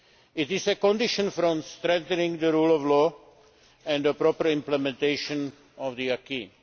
It is a condition for strengthening the rule of law and the proper implementation of the acquis.